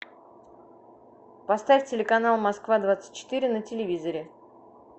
поставь телеканал москва двадцать четыре на телевизоре